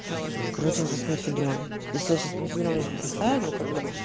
короче уже с мифидроном если я сейчас мифидрон бросаю ну как бы